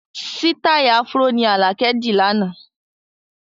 Sítai "Afro" ni alakẹ di láánaà.